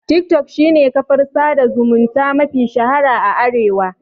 Tik tok shine kafar sada zumunta mafi shahara a Arewa